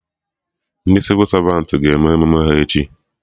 Ndị Sịvụ Savantị ga-eme emume ha echi